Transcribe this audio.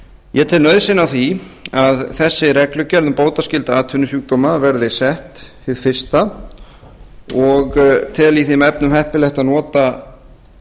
ég tel nauðsyn á því að þessi reglugerð um bótaskylda atvinnusjúkdóma verði sett hið fyrsta og tel í þeim efnum heppilegt að nota